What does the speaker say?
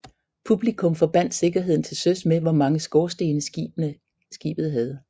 Publikum forbandt sikkerheden til søs med hvor mange skorstene skibet havde